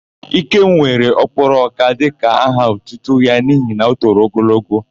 Ikem were Ọ́kwụ́rụ́ọka dịka aha otutu ya n'ihi na o toro ogologo.